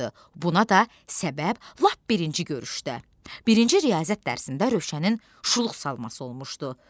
Buna da səbəb lap birinci görüşdə, birinci riyaziyyat dərsində Rövşənin şuluq salması olmuşdu.